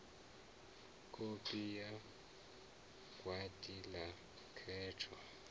kopi ya gwati la khetho